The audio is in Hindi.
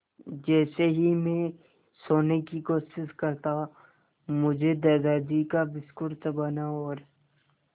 जैसे ही मैं सोने की कोशिश करता मुझे दादाजी का बिस्कुट चबाना और